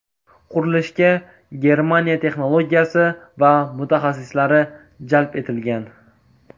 Qurilishga Germaniya texnologiyasi va mutaxassislari jalb etilgan.